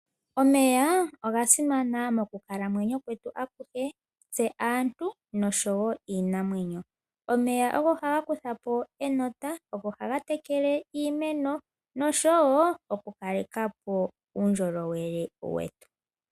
Omeya oga simana mokukalamwenyo kwetu akuhe tse aantu noshowo iinamwenyo. Omeya ogo haga kutha po enota, ogo haga tekele iimeno noshowo oku kale kapo uundjolowele wetu.